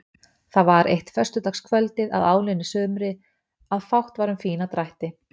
Það var eitt föstudagskvöldið að áliðnu sumri að fátt var um fína drætti.